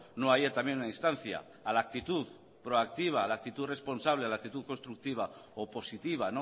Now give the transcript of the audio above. no haya también una instancia a la actitud proactiva a la actitud responsable a la actitud constructiva o positiva